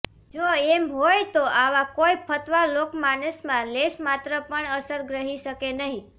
જો એમ હોય તો આવા કોઇ ફતવા લોકમાનસમાં લેશમાત્ર પણ અસર ગ્રહી શકે નહીં